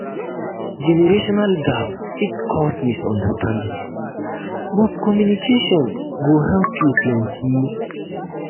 generational gap fit cause misunderstanding but communication go help you plenty.